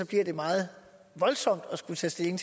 bliver meget voldsomt at skulle tage stilling